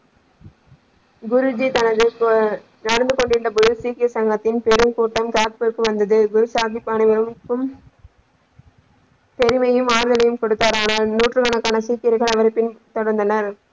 குருஜி தனது நடந்து ஹம் கொண்டிருந்த பொழுது சீக்கிய சங்கத்தின் பெருங்கூட்டம் ராஜ்பூருக்கு வந்தது குருசாகிப் அனைவருக்கும பெருமையும் ஆறுதலையும் கொடுத்தார் ஆனா நூற்றுக்கணக்கான சீக்கியர்கள் அவர் பின் தொடர்ந்தன.